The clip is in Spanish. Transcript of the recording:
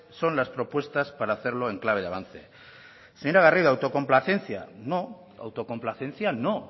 son las propuestas para hacerlo en clave de avance señora garrido autocomplacencia no autocomplacencia no